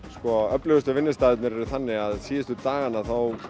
öflugustu vinnustaðirnir eru þannig að síðustu dagana